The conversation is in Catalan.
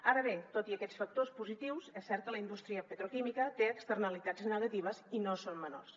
ara bé tot i aquests factors positius és cert que la indústria petroquímica té externalitats negatives i no són menors